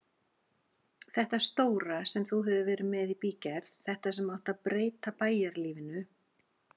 Þetta stóra sem þú hefur verið með í bígerð, þetta sem átti að breyta bæjarlífinu.